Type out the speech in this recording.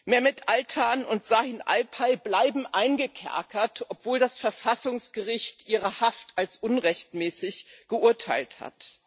Mehmet Altan und Şahin Alpay bleiben eingekerkert, obwohl das Verfassungsgericht ihre Haft als unrechtmäßig verurteilt hat.